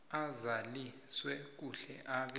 azaliswe kuhle abe